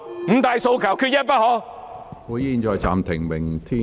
"五大訴求，缺一不可"。